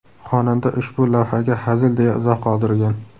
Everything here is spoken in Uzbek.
Xonanda ushbu lavhaga hazil deya izoh qoldirgan.